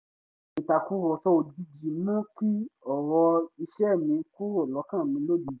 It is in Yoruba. ìtàkùrọ̀sọ òjijì mú kí ọ̀rọ̀ iṣẹ́ mi kúrò lọ́kàn mi lójijì